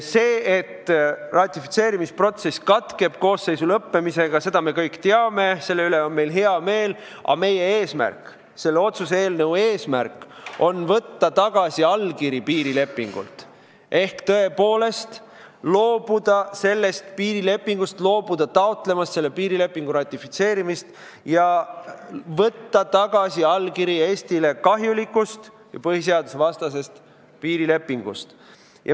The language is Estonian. Seda, et ratifitseerimisprotsess katkeb koosseisu lõppemisega, me kõik teame – selle üle on meil hea meel –, aga meie eesmärk, selle otsuse eelnõu eesmärk on võtta tagasi allkiri piirilepingult ehk tõepoolest loobuda sellest piirilepingust, loobuda taotlemast selle piirilepingu ratifitseerimist, võtta tagasi allkiri Eestile kahjulikult ja põhiseadusvastaselt piirilepingult.